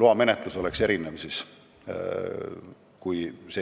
loamenetlus peaks olema siis teistsugune kui seni.